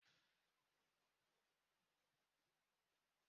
Kedu onye rọtara mọnaki?